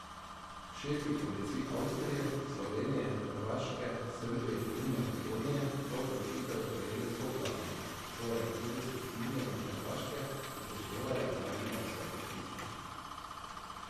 Šefi policij Avstrije, Slovenije, Hrvaške, Srbije in Makedonije so odločitev sprejeli soglasno, torej tudi s strinjanjem Hrvaške, upoštevale pa naj bi ga vse podpisnice.